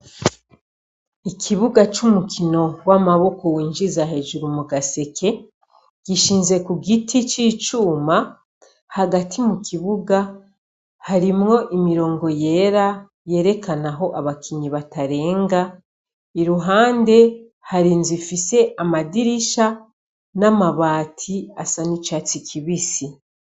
Ikibuga c'umukino w'amaboko winjiza hejuru mugaseke , gishinze kugiti c'icuma, hagati mukibuga harimwo imirongo yera, yerekana aho abakinyi batarenga ,iruhande har'inzu ifise amadirisha n'amabati asa n'icatsi kibisi.